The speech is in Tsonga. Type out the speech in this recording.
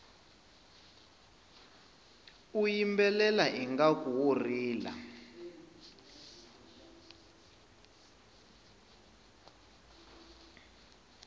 u yimbelela ngaku wo rila